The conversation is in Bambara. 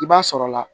I b'a sɔrɔla